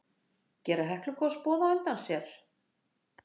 Gera Heklugos boð á undan sér?